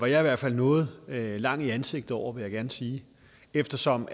jeg i hvert fald noget lang i ansigtet over vil jeg gerne sige eftersom